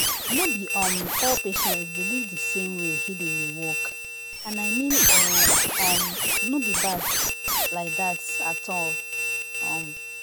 no be um all patients believe the same way healing dey work — and i mean e um no bad like that at um all.